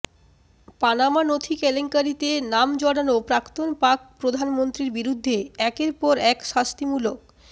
Panama নথি কেলেঙ্কারিতে নাম জড়ানো প্রাক্তন পাক প্রধানমন্ত্রীর বিরুদ্ধে একের পর এক শাস্তিমূলক